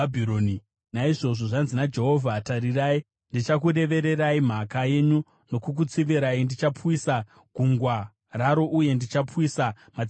Naizvozvo, zvanzi naJehovha: “Tarirai, ndichakurevererai mhaka yenyu uye ndichakutsivirai; ndichapwisa gungwa raro, ndichapwisa matsime aro.